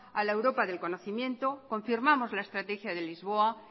a la europa del conocimiento confirmamos la estrategia de lisboa